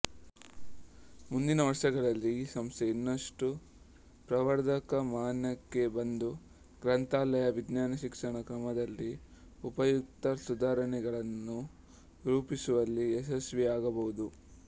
ಮುಂದಿನ ವರ್ಷಗಳಲ್ಲಿ ಈ ಸಂಸ್ಥೆ ಇನ್ನಷ್ಟು ಪ್ರವರ್ಧಮಾನಕ್ಕೆ ಬಂದು ಗ್ರಂಥಾಲಯ ವಿಜ್ಞಾನ ಶಿಕ್ಷಣ ಕ್ರಮದಲ್ಲಿ ಉಪಯುಕ್ತ ಸುಧಾರಣೆಗಳನ್ನು ರೂಪಿಸುವಲ್ಲಿ ಯಶಸ್ವಿಯಾಗಬಹುದು